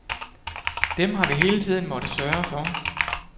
Dem har vi hele tiden måttet sørge for.